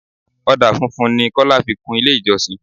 Ọdà funfun ni Kọ́lá fi kun ilé ìjọsìn.